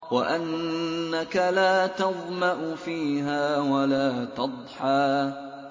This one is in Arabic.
وَأَنَّكَ لَا تَظْمَأُ فِيهَا وَلَا تَضْحَىٰ